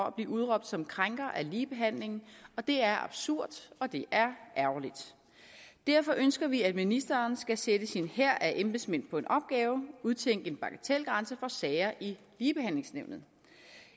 at blive udråbt som krænker af ligebehandlingen og det er absurd og det er ærgerligt derfor ønsker vi at ministeren skal sætte sin hær af embedsmænd på en opgave og udtænke en bagatelgrænse for sager i ligebehandlingsnævnet